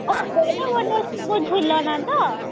ବଡ ବଡ ସବୁ ଝୁଲଣ ତ